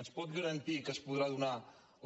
ens pot garantir que es podrà donar